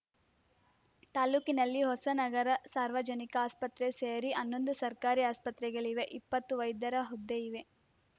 ತಾಲೂಕಿನಲ್ಲಿ ಹೊಸನಗರ ಸಾರ್ವಜನಿಕ ಅಸ್ಪತ್ರೆ ಸೇರಿ ಹನ್ನೊಂದು ಸರ್ಕಾರಿ ಆಸ್ಪತ್ರೆಗಳಿವೆ ಇಪ್ಪತ್ತು ವೈದ್ಯರ ಹುದ್ದೆ ಇವೆ